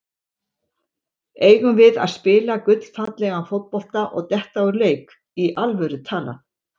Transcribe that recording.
Eigum við að spila gullfallegan fótbolta og detta úr leik, í alvöru talað?